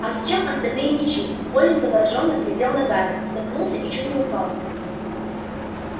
а зачем остальные мячи колин заворожённо глядел на гарри споткнулся и чуть не упал